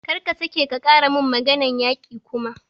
Kar ka sake ka ƙara mun maganar yaƙi kuma!